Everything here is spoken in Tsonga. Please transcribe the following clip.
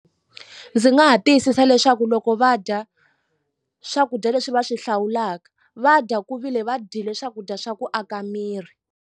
Ndzi nga ha tiyisisa leswaku loko va dya swakudya leswi va swi hlawulaka va dya ku vile va dyile swakudya swa ku aka miri.